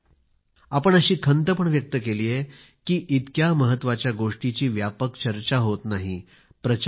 आपण अशी खंत पण व्यक्त केली कि इतक्या महत्त्वाच्या गोष्टीची व्यापक चर्चा होत नाही प्रचार होत नाही